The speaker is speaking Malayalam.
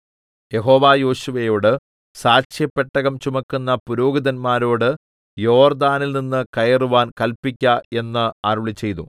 യഹോവ യോശുവയോട് സാക്ഷ്യപെട്ടകം ചുമക്കുന്ന പുരോഹിതന്മാരോട് യോർദ്ദാനിൽനിന്ന് കയറുവാൻ കല്പിക്ക എന്ന് അരുളിച്ചെയ്തു